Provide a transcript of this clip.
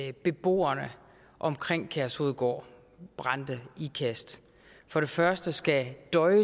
at beboerne omkring kærshovedgård brande ikast for det første skal døje